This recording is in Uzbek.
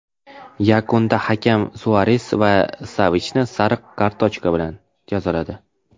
Yakunda hakam Suares va Savichni sariq kartochka bilan jazoladi.